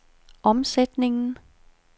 omsætningen